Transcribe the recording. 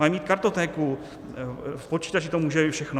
Mají mít kartotéku, v počítači to může být všechno.